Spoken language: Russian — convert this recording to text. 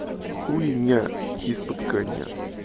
хуйня из под коня